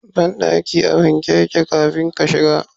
Bandaki a wanke yake kafin ka shiga.